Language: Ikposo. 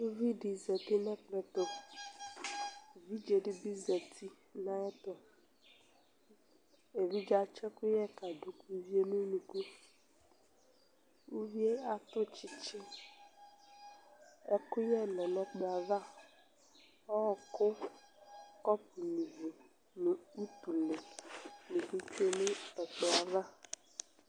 uvidi zati nu ɛkplɔ'ɛtu, evidze dɩ bɩ zati nu ayɛtu, evidze yɛ atsɩ ɛkuyɛ kadu ka uviyɛ nu unuku, uvi yɛ atu tsɩtsɩ, ɛkuyɛ lɛ nu ɛkplɔ yɛ ava, ɔku, kɔpu nyuǝ ivi, nu utule nɩ bɩ tsue nu ɛkplɔ yɛ ava